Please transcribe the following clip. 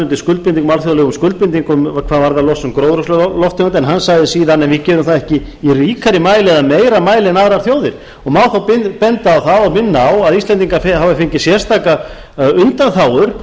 undir alþjóðlegum skuldbindingum hvað varðar losun gróðurhúsalofttegunda en hann sagði síðan við gerum það ekki í ríkari mæli eða meiri mæli en aðrar þjóðir og má þá benda á það og minna á að íslendingar hafa fengið sérstakar undanþágur